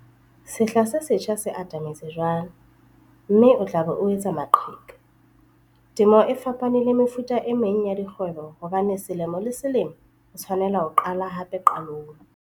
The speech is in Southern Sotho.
Sehla se setjha se atametse jwale, mme o tla be o etsa maqheka. Temo e fapane le mefuta e meng ya dikgwebo hobane selemo le selemo o tshwanela ho qala hape qalong.